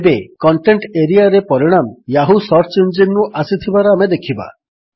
ଏବେ କଣ୍ଟେଣ୍ଟ ଏରିଆରେ ପରିଣାମ ୟାହୂ ସର୍ଚ୍ଚ ଇଞ୍ଜିନ୍ ରୁ ଆସିଥିବାର ଆମେ ଦେଖିବା